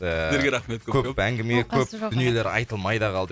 ыыы сіздерге рахмет көп көп оқасы жоқ көп әңгіме көп дүниелер айтылмай да қалды